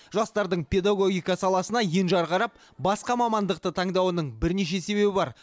жастардың педагогика саласына енжар қарап басқа мамандықты таңдауының бірнеше себебі бар